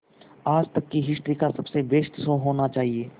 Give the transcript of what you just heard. आज तक की हिस्ट्री का सबसे बेस्ट शो होना चाहिए